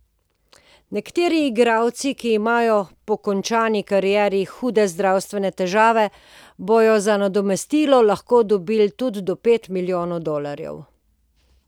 Nekateri igralci, ki imajo po končani karieri hude zdravstvene težave, bodo za nadomestilo lahko dobili tudi do pet milijonov dolarjev.